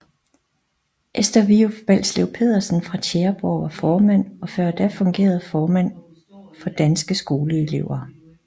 Esther Vyff Balslev Petersen fra Tjæreborg var formand og før da fungerende formand for Danske Skoleelever